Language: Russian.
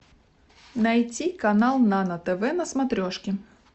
найти канал нано тв на смотрешке